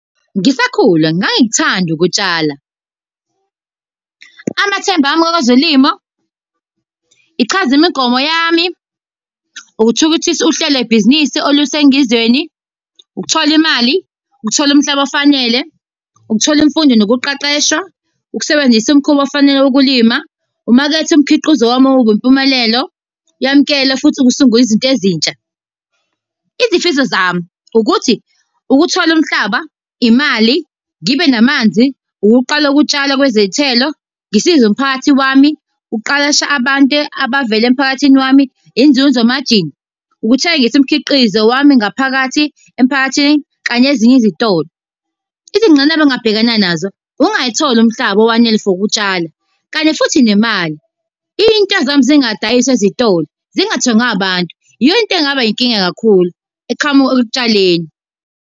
Ngisakhula, ngangikuthanda ukutshala. Amathemba ami kwezolimo. Ichaza imigomo yami. Ukuthukuthisa ukuhlela ibhizinisi oluse ngizweni. Ukuthola imali, ukuthola umhlaba ofanele, ukuthola imfundo nokuqeqesha, ukusebenzisa umkhuba ofanele wokulima. Umaketha umkhiqizo wami wokuba impumelelo, uyamukela futhi ukusungula izinto ezintsha. Izifiso zami ukuthi, ukuthola umhlaba, imali, ngibe namanzi, ukuqala ukutshala kwezithelo. Ngisize umphakathi wami uqasha abantu abavela emphakathini wami. Inzuzo margin, ukuthengisa umkhiqizo wami ngaphakathi emphakathini kanye nezinye izitolo. Izingqinamba engabhekana nazo, ukungayitholi umhlaba owanele for ukutshala. Kanti futhi nemali iy'nto zami zingadayisi ezitolo, zingathengwa abantu. Iyona into engaba inkinga kakhulu, eqhamuka ekutshaleni.